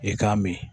I k'a min